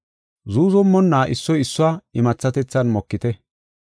Zuuzumonna issoy issuwa imathatethan mokite.